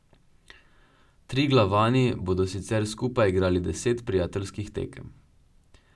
Triglavani bodo sicer skupaj igrali deset prijateljskih tekem.